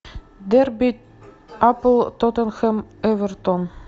дерби апл тоттенхэм эвертон